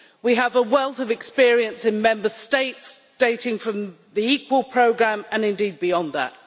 We have a wealth of experience in Member States dating from the Equal Programme and, indeed, beyond that.